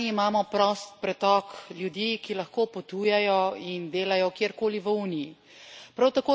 Na eni strani imamo prost pretok ljudi, ki lahko potujejo in delajo kjerkoli v Uniji.